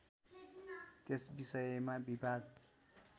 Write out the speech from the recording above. त्यस विषयमा विवाद